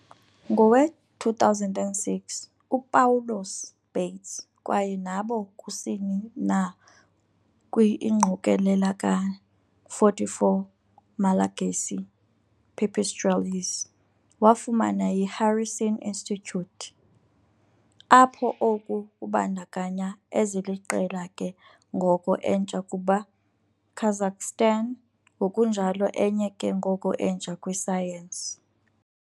Ngowe-2006, Upawulos Bates kwaye nabo kusini na kwi ingqokelela ka-44 Malagasy "pipistrelles" wafumana yi - Harrison Institute, apho oku kubandakanya eziliqela ke ngoko entsha ukuba Kazakhstan, ngokunjalo enye ke ngoko entsha kwi-science.